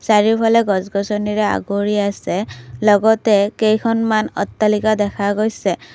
চাৰিওফালে গছ গছনিয়ে আৱৰি আছে লগতে কেইখনমান অট্টালিকা দেখা গৈছে।